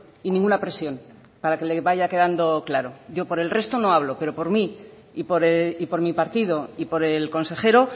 y ninguna presión para que le vaya quedando claro yo por el resto no hablo pero por mí y por mi partido y por el consejero